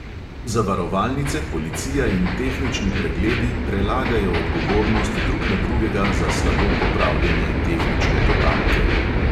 Zavarovalnice, policija in tehnični pregledi prelagajo odgovornost drug na drugega za slabo popravljene tehnične totalke.